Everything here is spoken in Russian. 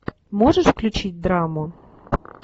можешь включить драму